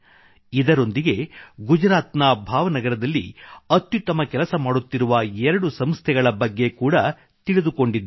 ಇದರೊಂದಿಗೇ ಗುಜರಾತ್ ನ ಭಾವನಗರದಲ್ಲಿ ಅತ್ಯುತ್ತಮ ಕೆಲಸ ಮಾಡುತ್ತಿರುವ ಎರಡು ಸಂಸ್ಥೆಗಳ ಬಗ್ಗೆ ಕೂಡಾ ತಿಳಿದುಕೊಂಡಿದ್ದೇನೆ